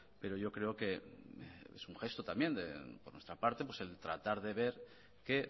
pero yo creo que es un gesto también de nuestra parte el tratar de ver que